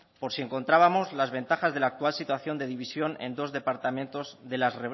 por si encontrábamos las ventajas del actual situación de división en dos departamentos de las